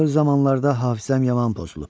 Axır zamanlarda hafizəm yaman pozulub.